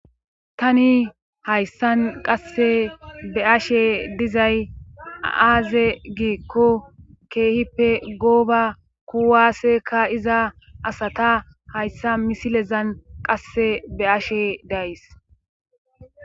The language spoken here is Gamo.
Tani hayssan qasse be ashe dizay azaaze giikko keehippe gooba kuwaaseka iza asata hayssa misilezan qasse be'ashe days